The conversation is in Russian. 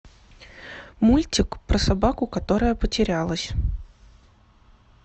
мультик про собаку которая потерялась